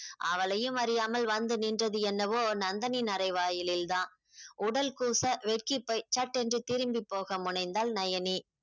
அவளையும் அறியாமல் வந்து நின்றது என்னவோ நந்தனின் அரை வாயலில் தான் உடல் கூச வெக்கி போய் சட்டென்று திரும்பி போக முனைந்தாள் நயனி